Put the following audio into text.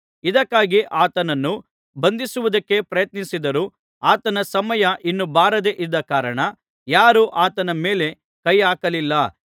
ಇದಕ್ಕಾಗಿ ಆತನನ್ನು ಬಂಧಿಸುವುದಕ್ಕೆ ಪ್ರಯತ್ನಿಸಿದರೂ ಆತನ ಸಮಯ ಇನ್ನೂ ಬಾರದೆ ಇದ್ದ ಕಾರಣ ಯಾರೂ ಆತನ ಮೇಲೆ ಕೈ ಹಾಕಲಿಲ್ಲ